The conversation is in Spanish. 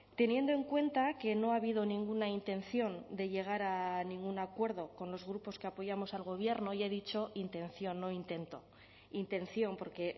teniendo en cuenta que no ha habido ninguna intención de llegar a ningún acuerdo con los grupos que apoyamos al gobierno y he dicho intención no intento intención porque